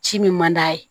Ci min man d'a ye